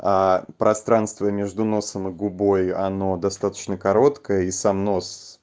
пространство между носом и губой оно достаточно короткое и сам нос